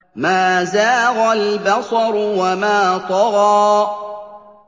مَا زَاغَ الْبَصَرُ وَمَا طَغَىٰ